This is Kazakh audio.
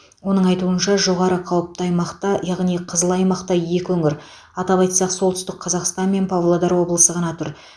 оның айтуынша жоғары қауіпті аймақта яғни қызыл аймақта екі өңір атап айтсақ солтүстік қазақстан мен павлодар облысы ғана тұр